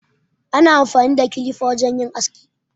Ana amfani da kilifa wajen aski